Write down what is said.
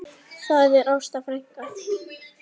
Það er Ásta frænka.